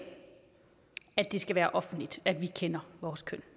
at det skal være offentligt at vi kender vores køn